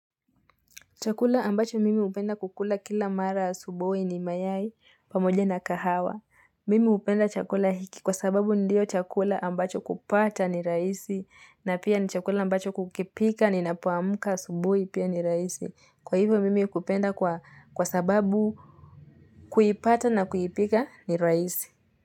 Chakula ambacho mimi hupenda kukula kila mara asubuhi ni mayai pamoja na kahawa. Mimi hupenda chakula hiki kwa sababu ndio chakula ambacho kupata ni rahisi. Na pia ni chakula ambacho kukipika ninapoamka asubuhi pia ni rahisi. Kwa hivyo mimi kupenda kwa sababu kuipata na kuipika ni rahisi.